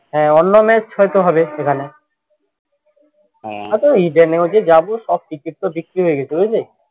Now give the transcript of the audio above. হ্যাঁ অন্য match হয়তো হবে সেখানে হয়ত ইডেনে হয়তো যাব সব ticket তো বিক্রি হয়ে গেছে বুঝলে?